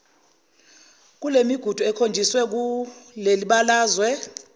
kulemigudu ekhonjisiwe kulelibalazwe